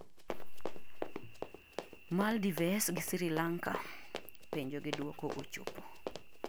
Maldivese gi Sri Lanka : penjo gi duoko ochopo